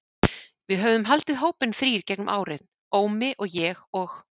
Við höfðum haldið hópinn þrír gegnum árin, Ómi og ég og